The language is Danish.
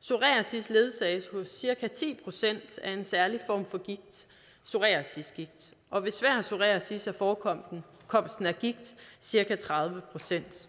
psoriasis ledsages hos cirka ti procent af en særlig form for gigt psoriasisgigt og ved svær psoriasis er forekomsten af gigt cirka tredive procent